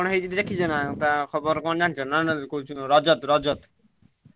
କଣ ହେଇଛି ଦେଖିଛ ନାଁ ତଅ ଖବର କଣ ଜାଣିଛ ରଜତ ରଜତ।